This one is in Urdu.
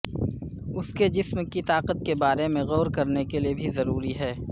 اس کے جسم کی طاقت کے بارے میں غور کرنے کے لئے بھی ضروری ہے